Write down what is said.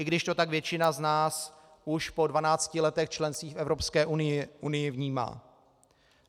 I když to tak většina z nás už po 12 letech členství v Evropské unii vnímá.